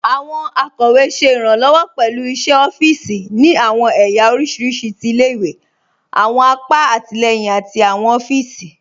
Àwọn akọwe ṣẹ irànlowọ pẹ̀lú iṣẹ̀ ọ̀fììsì ni àwọn èyà oríṣiríṣí tí ilẹ̀-ìwé, àwọn àpà àtilẹyìn àti àwọn ọ̀fíìsì.